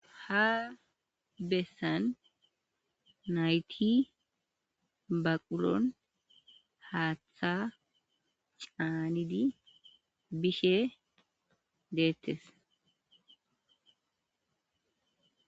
ha bessan nayti baqulon haaththa caanidi bishe deettes